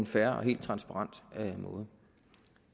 fair og transparent måde